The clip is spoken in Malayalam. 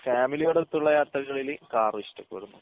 പിന്ന ഫാമിലിയോടും ഒത്തുള്ള യാത്രകളിൽ കാറും ഇഷ്ടപ്പെടുന്നു